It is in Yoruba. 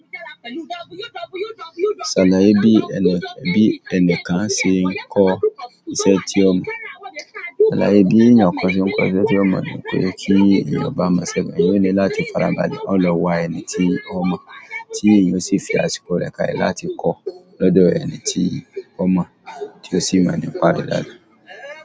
Ṣàna ẹbí ẹni kan ṣe ń kọ iṣẹ́ tí ọmọ, ṣàlá ẹbí ènìyàn kan ṣe ń kọ iṣẹ́ tí ọmọ, nítorí pé kí ènìyàn bá mọ̀ sẹ́gun, èyí ni láti farabalẹ̀ ọ̀pọ̀lọpọ̀ wà ẹni tí ó mọ̀, tí èyàn sì fi àsìkò rẹ̀ ká lẹ láti kọ́ lọ́dọ̀ ẹni tí ó mọ̀ tí ó sì mọ̀ nípa rẹ̀ dáadáa.